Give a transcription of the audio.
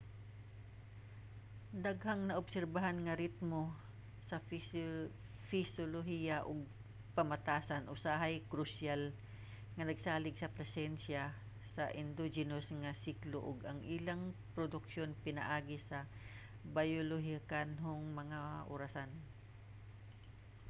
daghang naobserbahan nga ritmo sa pisyolohiya ug pamatasan usahay krusyal nga nagsalig sa presensiya sa endogenous nga siklo ug ang ilang produksyon pinaagi sa biolohikanhong mga orasan